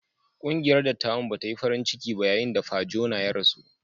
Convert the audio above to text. Ƙungiyar dattawan ba ta yi farin ciki ba yayin da Pa Jona ya rasu.